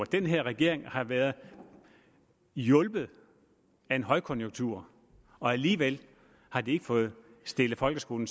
den her regering har været hjulpet af en højkonjunktur og alligevel har den ikke fået stillet folkeskolen